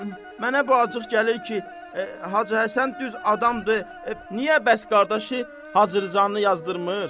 Mənə bu acıq gəlir ki, Hacı Həsən düz adamdır, niyə bəs qardaşı Hacı Rzanı yazdırmır?